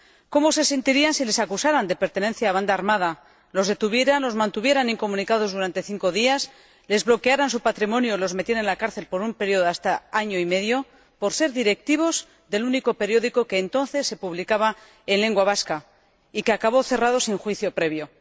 ¿Cómo se sentirían si les acusaran de pertenencia a banda armada, los detuvieran, los mantuvieran incomunicados durante cinco días, les bloquearan su patrimonio y los metieran en la cárcel por un período de hasta año y medio por ser directivos del único periódico que entonces se publicaba en lengua vasca y que acabó cerrado sin juicio previo?